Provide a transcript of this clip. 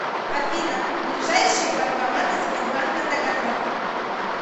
афина ближайшие банкоматы сбербанка таганрог